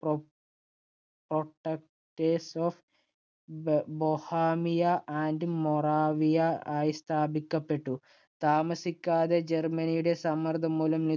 Pro protecters of mohamia and boravia ആയി സ്ഥാപിക്കപ്പെട്ടു. താമസിക്കാതെ ജർമ്മനിയുടെ സമ്മർദ്ദം മൂലം